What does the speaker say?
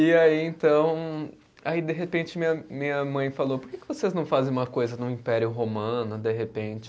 E aí, então, aí de repente minha minha mãe falou, por que vocês não fazem uma coisa no Império Romano, de repente?